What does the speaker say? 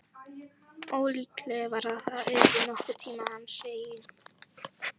Ólíklegt var að það yrði nokkurn tíma hans eign.